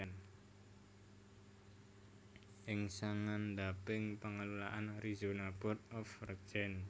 ing sangandhaping pengelolaan Arizona Board of Regents